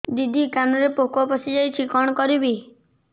ଦିଦି କାନରେ ପୋକ ପଶିଯାଇଛି କଣ କରିଵି